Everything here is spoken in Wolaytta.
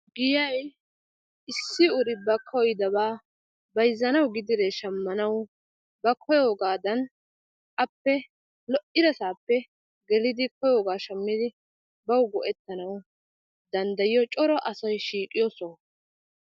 Giyaay issi uri ba kooyidabaa bayxxanawu gidiree shamanawu ba koyoogadan appe lo"iraasappe geelidi ba koyoogaa shaamiddi bawu go"ettanawu dandayayiyoo coora asay shiiqiyoo sooho.